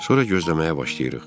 Sonra gözləməyə başlayırıq.